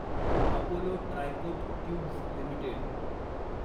Apollo tricot tubes limited